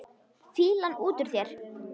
Fýlan út úr þér!